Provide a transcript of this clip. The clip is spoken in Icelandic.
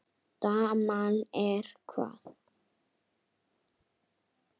Daman er hvað.